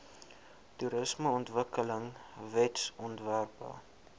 toerismeontwikkelingwetsontwerpe